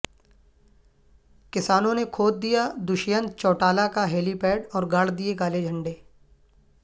کسانوں نے کھوددیادشینت چوٹالہ کا ہیلی پیڈ اور گاڑدئے کالے جھنڈے